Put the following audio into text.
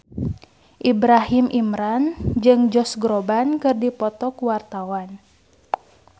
Ibrahim Imran jeung Josh Groban keur dipoto ku wartawan